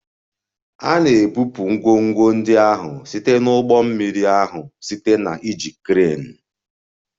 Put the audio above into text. A na-ebupụ ngwongwo ndị ahụ site na ụgbọ mmiri ahụ site na iji kreenu